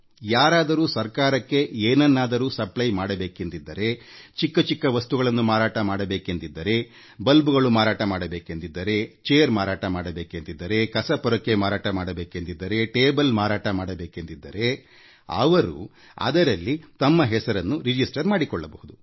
ಯಾರಾದರೂ ಸರ್ಕಾರಕ್ಕೆ ಏನನ್ನಾದರೂ ಏನಾದರೂ ವಸ್ತುವನ್ನು ಸರ್ಕಾರಕ್ಕೆ ಪೂರೈಕೆಮಾಡಬೇಕೆಂದಿದ್ದರೆ ಚಿಕ್ಕ ಚಿಕ್ಕ ವಸ್ತುಗಳನ್ನು ಅಂದರೆ ವಿದ್ಯುತ್ ಬಲ್ಬ್ ಕಸದ ಡಬ್ಬ ಪೊರಕೆ ಕುರ್ಚಿಗಳು ಮತ್ತು ಮೇಜುಗಳನ್ನು ಮಾರಾಟ ಮಾಡಬೇಕೆಂದಿದ್ದರೆ ನೀವು ಅದರಲ್ಲಿ ನೋಂದಣಿ ಮಾಡಿಕೊಳ್ಳಬಹುದು